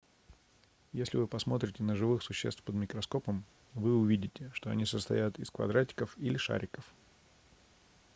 если вы посмотрите на живых существ под микроскопом вы увидите что они состоят из квадратиков или шариков